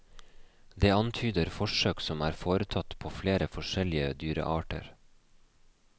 Det antyder forsøk som er foretatt på flere forskjellige dyrearter.